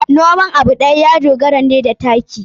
Noman abu ɗaya ya dogara ne da taki.